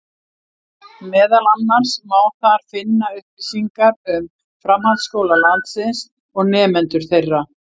Meðal annars má þar finna upplýsingar um framhaldsskóla landsins og nemendur þeirra.